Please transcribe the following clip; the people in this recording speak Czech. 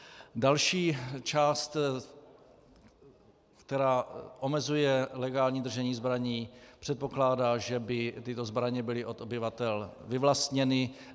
Další část, která omezuje legální držení zbraní, předpokládá, že by tyto zbraně byly od obyvatel vyvlastněny.